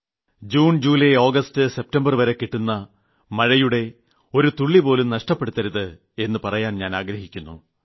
June July August സെപ്റ്റംബർവരെ കിട്ടുന്ന മഴയുടെ ഒരു തുള്ളി ജലംപോലും നഷ്ടപ്പെടുത്തരുത് എന്ന് പറയാൻ ഞാൻ ആഗ്രഹിക്കുന്നു